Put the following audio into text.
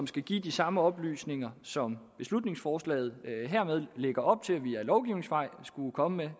skal gives de samme oplysninger som beslutningsforslaget her lægger op til skulle komme